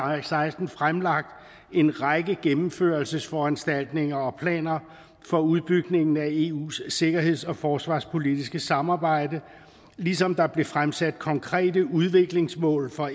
og seksten fremlagt en række gennemførelsesforanstaltninger og planer for udbygningen af eus sikkerheds og forsvarspolitiske samarbejde ligesom der blev fremsat konkrete udviklingsmål for